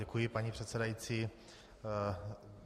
Děkuji, paní předsedající.